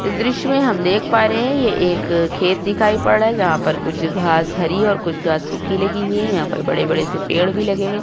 इस दृश्य में हम देख पा रहें है ये एक खेत दिखाई पड़ रहा है जहां पर कुछ घांस हरी और कुछ घांस सुखी लगी हुई है। यहां पर बड़े-बड़े से पेड़ भी लगे हुए --